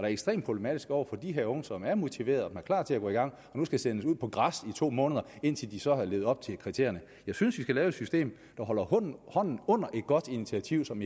ekstremt problematisk over for de her unge som er motiverede og er klar til at gå i gang og nu skal sendes ud på græs i to måneder indtil de så har levet op til kriterierne jeg synes vi skal lave et system der holder hånden under et godt initiativ som